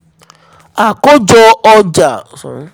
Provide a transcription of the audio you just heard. àkójọ ọjà